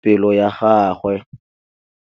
pelô ya gagwe.